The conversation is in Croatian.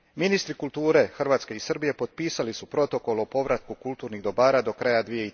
Ministri kulture Hrvatske i Srbije potpisali su protokol o povratku kulturnih dobara do kraja